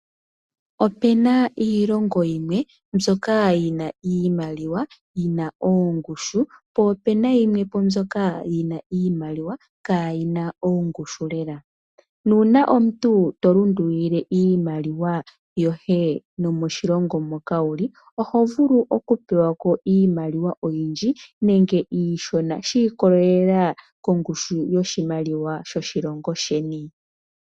Opuna iilongo yimwe mbyoka, yi na iimaliwa yi na ongushu, po opu na mbyoka yi na iimaliwa kaayina ongushu lela. Nuuna to pingakanitha iimaliwa yomoshilongo moka wuli, oho vulu oku pewa ko iimaliwa iishona nenge oyindji shiikolelela kongushu yiimaliwa yoshilongo sheni.